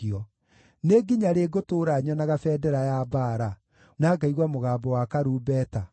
Nĩ nginya rĩ ngũtũũra nyonaga bendera ya mbaara, na ngaigua mũgambo wa karumbeta?